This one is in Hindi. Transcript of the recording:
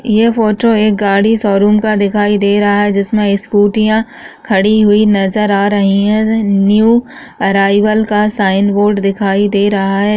यह फोटो एक गाड़ी शोरूम का दिखाई दे रहा है जिसमें स्कूटीयां खड़ी हुई नजर आ रही है न्यू अराइवल का साइन बोर्ड दिखाई दे रहा है।